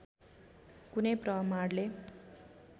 कुनै प्रमाणले